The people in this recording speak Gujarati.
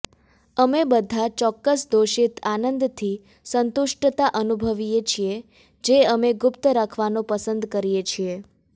અમે બધા ચોક્કસ દોષિત આનંદથી સંતુષ્ટતા અનુભવીએ છીએ જે અમે ગુપ્ત રાખવાનું પસંદ કરીએ છીએ